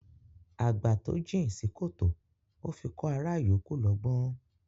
Àgbà tó jìn sí kòtò ó fi kọ́ ará yòókù lọ́gbọ́n